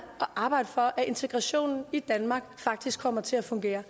at arbejde for at integrationen i danmark faktisk kommer til at fungere